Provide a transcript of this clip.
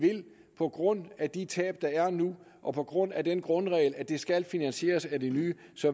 på grund af de tab der er nu og på grund af den grundregel at det skal finansieres af det nye